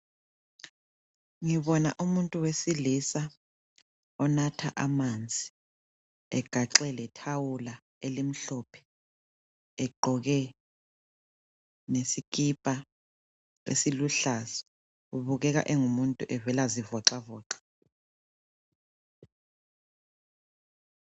Ngibona umuntu wesilisa onatha amanzi egaxe lethawula elimhlophe egqoke lesikipa esiluhlaza ebukeka engumuntu evela zivoxavoxa.